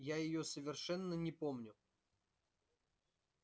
я её совершенно не помню